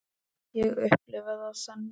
Ég upplifi það þannig.